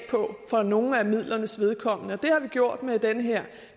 på for nogle af midlernes vedkommende og det har vi gjort med den her